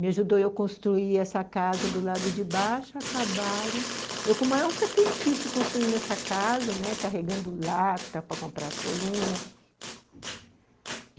Me ajudou eu construir essa casa do lado de baixo, acabaram... Eu, com o maior sacrifício, construí nessa casa, né, carregando lata para comprar as colunas.